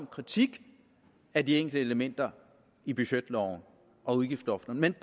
kritik af de enkelte elementer i budgetloven og udgiftsloftet men